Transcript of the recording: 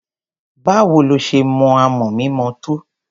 Báwo lo ṣe mọ amọ̀ mímọ tó?